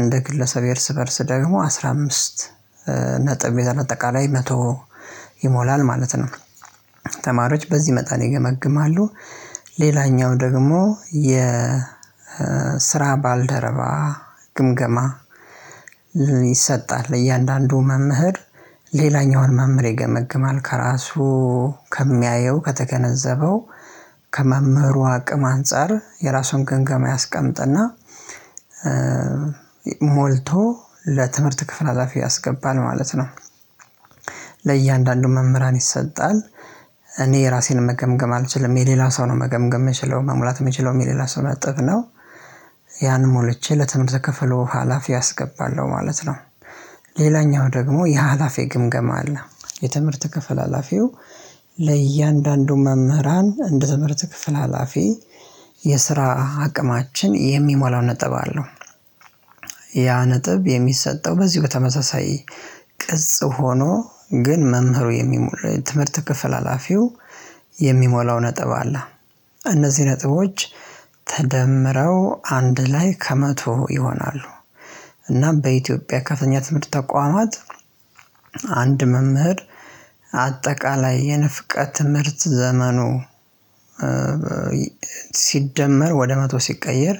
እንደ ግለሰብ የእርስ በእርስ ደግሞ አስራ አምስት ነጥብ አጠቃላይ መቶ ይሞላል ማለት ነው። ተማሪዎች በዚህ መጠን ይገመግማሉ። ሌላኛው ደግሞ የ ስራ ባልደረባ ግምገማ ይሰጣል። እያንዳንዱ መምህር ሌላኛውን መምህር ይገመግማል ከራሱ ከሚያየው ከተገነዘበው ከመምህሩ አቅም አንፃር የራሱን ገምገማ ያስቀምጥና ሞልቶ ለትምህርት ክፍል ሀላፊ ያስገባል ማለት ነው። ለእያንዳንዱ መምህራን ይሰጣል እኔ የራሴን መገምገም አልችልም የሌላ ሰው ነው መገምገም የምችለው መሙላት የምችለው የሌላ ሰው ነጥብ ነው። ያን ሞልቼ ለትምህርት ከፍሎ ሀላፊ አስገባለሁ ማለት ነው። ሌላኛው ደግሞ የሀላፊ ግምገማ አለ። የትምህርት ክፍል ሀላፊው ለእያንዳንዱ መምህራን እንደ ትምህርት ክፍል ሀላፊ የስራ አቅማችን የሚሞላው ነጥብ አለው። ያ ነጥብ የሚሰጠው በዚህ በተመሳሳይ ቅጽ ሆኖ ግን መምህሩ የሚሞላ ትምህርት ክፍል ሀላፊው የሚሞላው ነጥብ አለ። እነዚህ ነጥቦች ተደምረው አንድ ላይ ከመቶ ይሆናሉ። እና በኢትዮጵያ ከፍተኛ ትምህርት ተቋማት አንድ መምህር አጠቃላይ የንፍቀት ትምህርት ዘመኑ ሲደመር ወደ መቶ ሲቀየር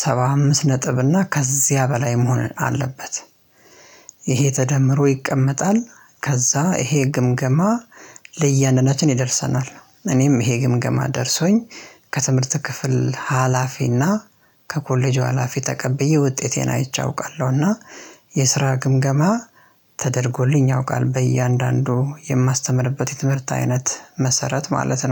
ሰባ አምስት ነጥብ እና ከዚያ በላይ መሆን አለበት። ይሄ ተደምሮ ይቀመጣል። ከዛ ይሄ ግምገማ ደርሰናል እኔም ይሄ ግምገማ ደርሶኝ ከትምህርት ክፍል ሀላፊና ከኮሌጁ ሀላፊ ተቀብዬ ውጤቴን አይቼ አውቃለሁና የስራ ግምገማ ተደርጎልኝ ያውቃል በእያንዳንዱ የማስተምርበት የትምህርት አይነት መሰረት ማለት ነው